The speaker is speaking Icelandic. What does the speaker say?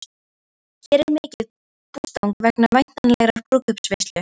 Hér er mikið bústang vegna væntanlegrar brúðkaupsveislu.